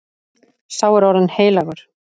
Sá er orðinn heilagur.